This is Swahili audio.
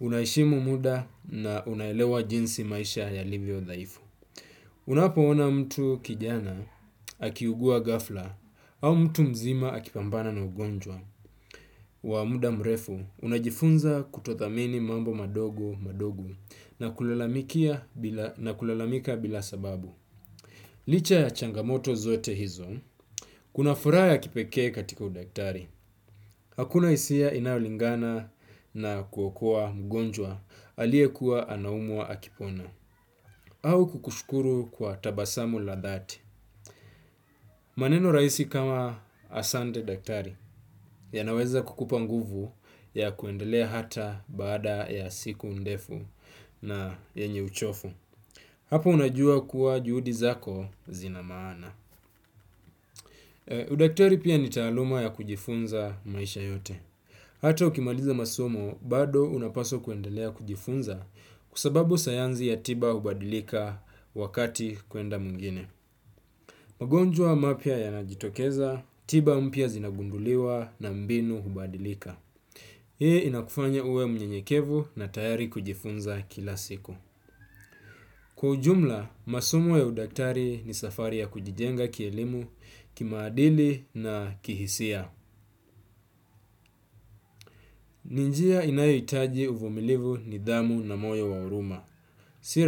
Unaheshimu muda na unaelewa jinsi maisha yalivyo dhaifu. Unapoona mtu kijana akiugua ghafla au mtu mzima akipambana na ugonjwa. Wa muda mrefu unajifunza kutothamini mambo madogo madogo na kulalamikia bila na kulalamika bila sababu licha ya changamoto zote hizo kuna furaha ya kipekee katika udaktari. Hakuna hisia inayolingana na kuokoa mgonjwa aliyekuwa anaumwa akipona au kukushukuru kwa tabasamu la dhati. Maneno rahisi kama asante daktari yanaweza kukupa nguvu ya kuendelea hata baada ya siku ndefu na yenye uchovu. Hapo unajua kuwa juhudi zako zina maana. Udaktari pia ni taaluma ya kujifunza maisha yote. Hata ukimaliza masomo bado unapaswa kuendelea kujifunza kwa sababu sayansi ya tiba hubadilika wakati kwenda mwingine. Magonjwa mapya yanajitokeza, tiba mpya zinagunduliwa na mbinu hubadilika. Hii inakufanya uwe mnyenyekevu na tayari kujifunza kila siku. Kwa ujumla, masomo ya udaktari ni safari ya kujijenga kielimu kimaadili na kihisia. Ni njia inayohitaji uvumilivu nidhamu na moyo wa huruma si.